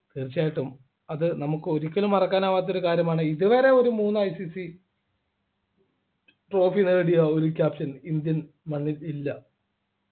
തീർച്ചയായിട്ടും അത് നമുക്ക് ഒരിക്കലും മറക്കാനാവാത്ത ഒരു കാര്യമാണ് ഇതുവരെ ഒരു മൂന്നു ICC trophy നേടിയ ഒരു Captain indian മണ്ണിൽ ഇല്ല